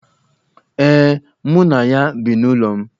Ee, mụ na ya bi n'ụlọ m.